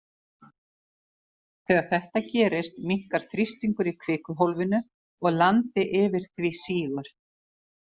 Þegar þetta gerist, minnkar þrýstingur í kvikuhólfinu og landi yfir því sígur.